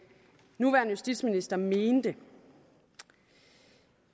nuværende justitsminister mente